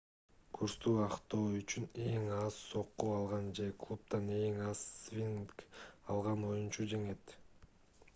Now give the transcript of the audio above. курсту актоо үчүн эң аз сокку алган же клубдан эң аз свинг алган оюнчу жеңет